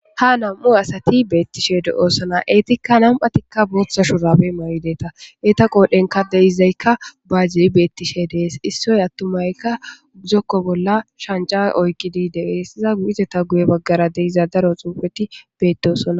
ha nam7u asati beettishe deoosana eetikka nam7atikka bootha shuraabe may7i deeta eeta qoodhenka deizaykka baajji beettishe de7es issoy attumaykka zokko bolla shanca oykkidi deees iza gu7izeta guye baggara deiza daro xuufeti beedosana